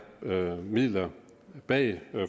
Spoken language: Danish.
midler bag